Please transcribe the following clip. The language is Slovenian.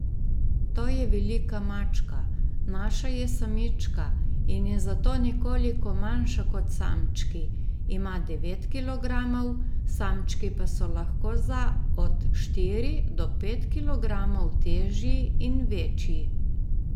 To je velika mačka, naša je samička in je zato nekoliko manjša kot samčki, ima devet kilogramov, samčki pa so lahko za od štiri do pet kilogramov težji in večji.